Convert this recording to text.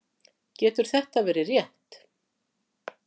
Getur þetta verið rétt?